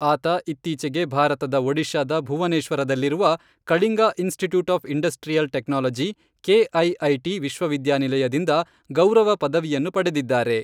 ಆತ ಇತ್ತೀಚೆಗೆ ಭಾರತದ ಒಡಿಶಾದ ಭುವನೇಶ್ವರದಲ್ಲಿರುವ Kalinga institute of industrial technology, KIIT, ವಿಶ್ವವಿದ್ಯಾನಿಲಯದಿಂದ ಗೌರವ ಪದವಿಯನ್ನು ಪಡೆದಿದ್ದಾರೆ.